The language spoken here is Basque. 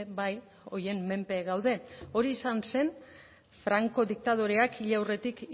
bai horien menpe gaude hori izan zen franko diktadoreak hil aurretik